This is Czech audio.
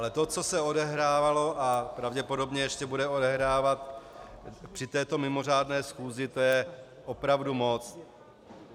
Ale to, co se odehrávalo a pravděpodobně ještě bude odehrávat při této mimořádné schůzi, to je opravdu moc.